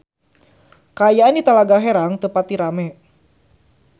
Kaayaan di Talaga Herang teu pati rame